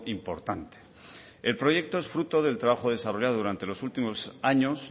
importante el proyecto es fruto del trabajo desarrollado durante los últimos años